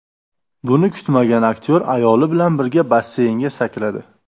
Buni kutmagan aktyor ayoli bilan birga basseynga sakradi.